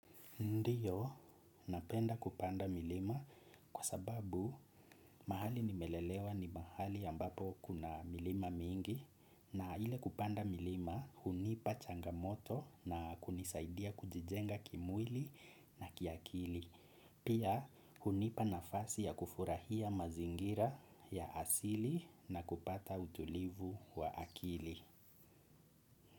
Ndiyo, napenda kupanda milima kwa sababu mahali nimelelewa ni mahali ambapo kuna milima mingi na ile kupanda milima hunipa changamoto na kunisaidia kujijenga kimwili na kiakili. Pia hunipa nafasi ya kufurahia mazingira ya asili na kupata utulivu wa akili.